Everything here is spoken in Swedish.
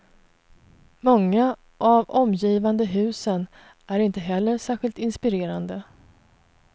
Många av omgivande husen är inte heller särskilt inspirerande.